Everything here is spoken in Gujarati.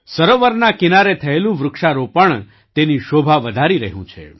સરોવરના કિનારે થયેલું વૃક્ષારોપણ તેની શોભા વધારી રહ્યું છે